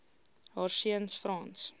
haar seuns frans